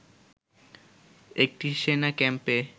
একটি সেনা ক্যাম্পে